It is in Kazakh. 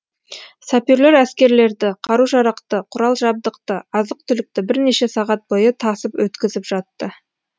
саперлер әскерлерді қару жарақты құрал жабдықты азық түлікті бірнеше сағат бойы тасып өткізіп жатты